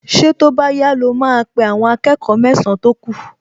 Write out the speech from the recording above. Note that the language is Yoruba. Ṣé tó bá yá ló máa pe àwọn akẹ́kọ̀ọ mẹ́san-án tó kù?